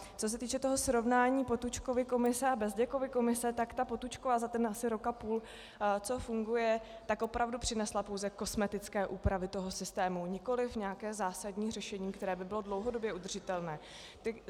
Co se týče toho srovnání Potůčkovy komise a Bezděkovy komise, tak ta Potůčkova za ten asi rok a půl, co funguje, tak opravdu přinesla pouze kosmetické úpravy toho systému, nikoliv nějaké zásadní řešení, které by bylo dlouhodobě udržitelné.